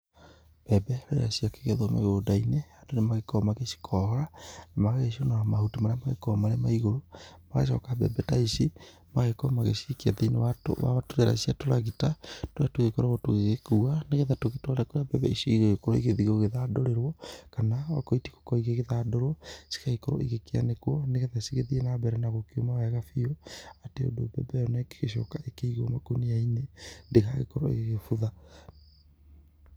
Mbembe rĩrĩa ciakĩgethwo mĩgũnda-inĩ, andũ nĩ magĩkoragwo magĩcikohora na magagĩciũnũra mahuti marĩa magĩkoragwo marĩ ma igũrũ, magacoka mbembe ta ici, magagĩkorwo magĩcikia thĩ-inĩ wa turera cia tũragita, tũrĩa tũgĩkoragwo tũgĩgĩkua nĩgetha tũgĩtware kũrĩa mbembe ici cigũgĩkorwo cigĩthiĩ gũgĩthandũrĩrwo kana okorwo itigũgĩkorwo igĩthandũrwo cigagĩkorwo igĩkĩanĩkwo nĩgetha cigĩthiĩ na mbere na gũkĩũma wega biũ, atĩ ũndũ mbembe ĩyo o na ĩngĩcoka ĩkĩgwo makũnia-inĩ, ndĩgagĩkorwo ĩgĩgĩbutha.